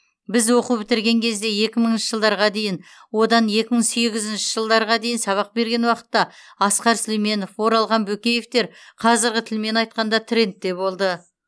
біз оқу бітірген кезде екі мыңшы жылдарға дейін одан екі мың сегізінші жылдарға дейін сабақ берген уақытта асқар сүлейменов оралхан бөкеевтер қазіргі тілмен айтқанда трендте болды